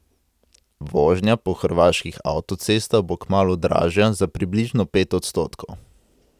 Vožnja po hrvaških avtocestah bo kmalu dražja za približno pet odstotkov.